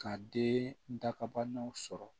Ka den dakabanaw sɔrɔ